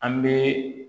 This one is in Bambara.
An bɛ